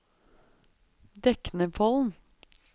Deknepollen